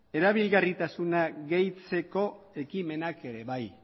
erabilgarritasuna gehitzeko ekimenak ere bai